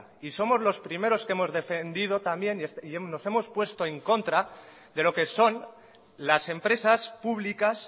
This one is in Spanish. y somos los primeros que hemos defendido también y nos hemos puesto en contra de lo que son las empresas públicas